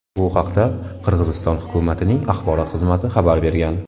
Bu haqda Qirg‘iziston hukumatining axborot xizmati xabar bergan .